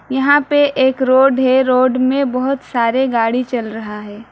यहां पे एक रोड है रोड में बहुत सारे गाड़ी चल रहा है।